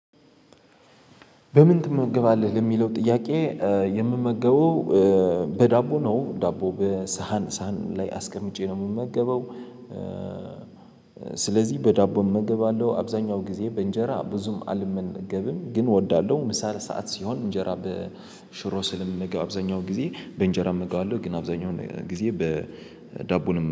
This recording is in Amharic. በምን ትመገባለህ ለሚለው ጥያቄ? የምመገበው በዳቦ ነው ዳቦ በሳህን ሳህን ላይ አስቀምጬ ነው የምመገበው። ስለዚህ በዳቦ አመገባለሁ አብዛኛው ጊዜ በእንጀራ ብዙም አልመነገብም ግን እወዳለሁ። ምሳ ለሰአት ሲሆን እንጀራ በሽሮ ስልምመገብ አብዛኛው ጊዜ በእንጀራ እምግባለሁ ግን አብዛኛው ጊዜ በዳቦን